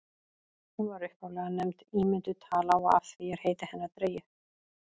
hún var upphaflega nefnd ímynduð tala og af því er heiti hennar dregið